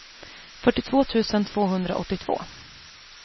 fyrtiotvå tusen tvåhundraåttiotvå